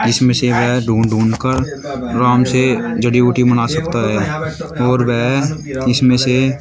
जिसमें से यह ढूंढ-ढूंढ कर आराम से जड़ी बूटी बना सकता है और वह इनमें से --